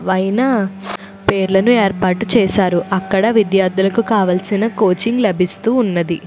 వైన పేర్లను ఏర్పాటు చేశారు అక్కడ విద్యార్థులకు కావలసిన కోచింగ్ లభిస్తూ ఉన్నది.